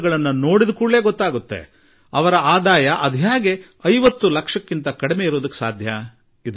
ಇವುಗಳ ಮಾಲೀಕರು 50 ಲಕ್ಷಕ್ಕೂ ಕಡಿಮೆ ವರಮಾನದ ವರ್ಗದಲ್ಲಿ ಹೇಗೆ ಬರಲು ಸಾಧ್ಯ ಎಂದು ಅನ್ನಿಸುತ್ತದೆ